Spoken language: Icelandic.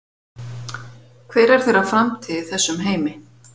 Hver er þeirra framtíð í þessum heimi?